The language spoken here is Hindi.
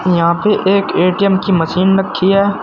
यहां पे एक ए_टी_एम की मशीन रखी है।